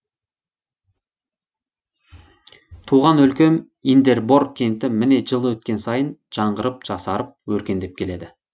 туған өлкем индербор кенті міне жыл өткен сайын жаңғырып жасарып өркендеп келеді